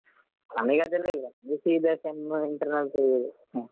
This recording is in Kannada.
ನಮಿಗೆ ಅದೆಲ್ಲ ಇಲ್ಲ ನಮಿಗೆ ಸೀದಾ sem internals ಯೇ.